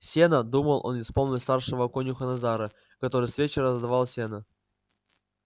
сено думал он и вспомнил старшего конюха назара который с вечера задавал сено